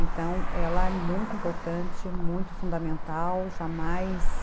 Então, ela é muito importante, muito fundamental, jamais...